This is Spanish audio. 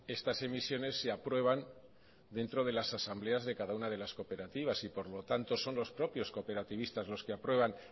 estas emisiones se aprueban dentro de las asambleas de cada una de las cooperativas y por lo tanto son los propios cooperativistas los que aprueban